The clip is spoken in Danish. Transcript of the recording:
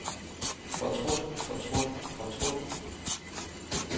fortrudt fortrudt fortrudt